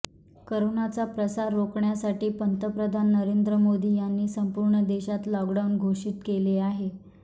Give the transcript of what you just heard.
करोनाचा प्रसार रोखण्यासाठी पंतप्रधान नरेंद्र मोदी यांनी संपूर्ण देशात लॉकडाऊन घोषित केले आहे